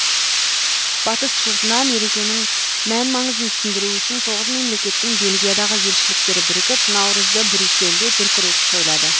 батыс жұртына мерекенің мән маңызын түсіндіру үшін тоғыз мемлекеттің бельгиядағы елшіліктері бірігіп наурызды брюссельде дүркіретіп тойлады